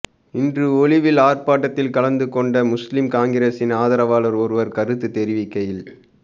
இன்று ஒலுவில் ஆர்பாட்டத்தில் கலந்து கொண்ட முஸ்லிம் காங்கிரஸின் ஆதரவாளர் ஒருவர் கருத்து தெரிவிக்கையில்